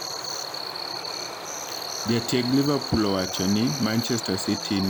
Jatieg Liverpool owachoni :Manchester City ni kod jotugo mabeyo ei pap to kod jotugo mabeyo e mbero.